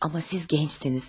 Amma siz gəncsiniz.